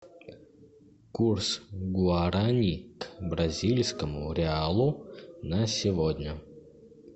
курс гуарани к бразильскому реалу на сегодня